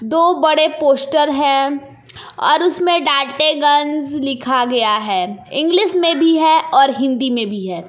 दो बड़े पोस्टर है और उसमें डांटेगंज लिखा गया है इंग्लिश में भी है और हिंदी में भी है।